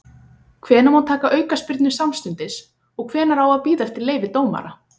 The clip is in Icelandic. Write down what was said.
Hvenær má taka aukaspyrnu samstundis og hvenær á að bíða eftir leyfi dómara?